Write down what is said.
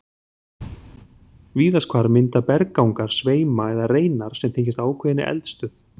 Víðast hvar mynda berggangar sveima eða reinar sem tengjast ákveðinni eldstöð.